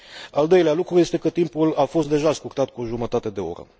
Al doilea lucru este că timpul a fost deja scurtat cu o jumătate de oră.